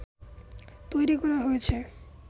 তৈরি করা হয়েছে